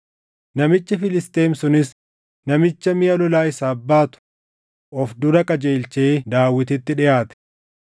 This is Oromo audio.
Namichi Filisxeem sunis namicha miʼa lolaa isaaf baatu of dura qajeelchee Daawititti dhiʼaate.